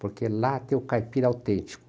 Porque lá tem o caipira autêntico.